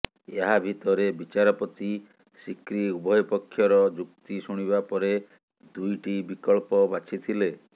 ଏହା ଭିତରେ ବିଚାରପତି ସିକ୍ରି ଉଭୟ ପକ୍ଷର ଯୁକ୍ତି ଶୁଣିବା ପରେ ଦୁଇଟି ବିକଳ୍ପ ବାଛିଥିଲେ